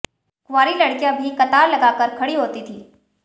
कुंवारी लड़कियां भी कतार लगाकर खड़ी होती थी